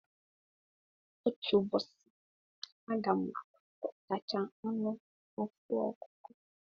Otu ụbọchị a ga m agba mbọ tachaa anụ ofu ọkụkọ.